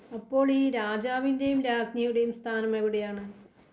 അപ്പോളീ രാജാവിൻ്റെയും രാജ്ഞിയുടെയും സ്ഥാനം എവിടെയാണ്?